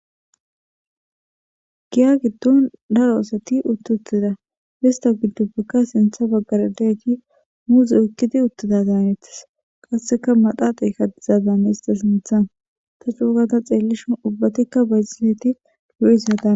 giya giddon daro asati utti uttida ista giddubakka sintha baggaradati muuzi ukkidi uttida daanetis qasseka madhaaxey kadizadaame ista sinthan ta cuugada xeellishun ubbatikka bayxileti durisaaa